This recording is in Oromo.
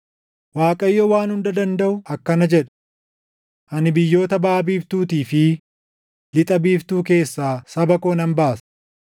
Waaqayyo Waan Hunda Dandaʼu akkana jedha: “Ani biyyoota baʼa biiftuutii fi lixa biiftuu keessaa saba koo nan baasa.